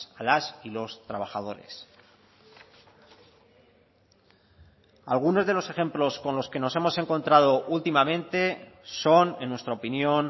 a las y los trabajadores algunos de los ejemplos con los que nos hemos encontrado últimamente son en nuestra opinión